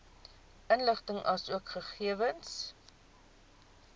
inligting asook gegewens